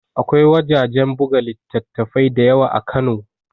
Akwai wajajen buga littattafai da yawa a kano